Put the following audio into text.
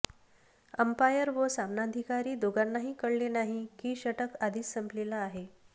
umpire व सामनाधिकारी दोघांनाही कळले नाही की षटक आधीच संपलेले आहे